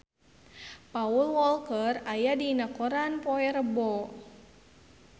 Paul Walker aya dina koran poe Rebo